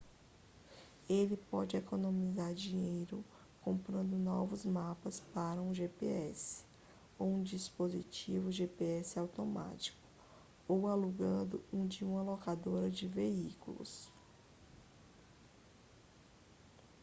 ele pode economizar dinheiro comprando novos mapas para um gps ou um dispositivo gps autônomo ou alugando um de uma locadora de veículos